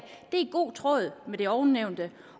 i god tråd med ovennævnte